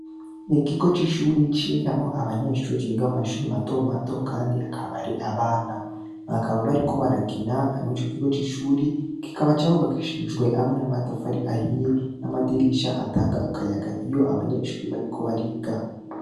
Mu kigo c'ishure cigamwo abanyeshure bo mu mashuri mato mato kandi akaba ari abana. Bakaba bariko barakina mw'ico kigo c'ishuri kikaba carubakishijwe hamwe n'amatafari ahiye hamwe n'amadirisha atanga akayaga iyo abanyeshure bariko bariga.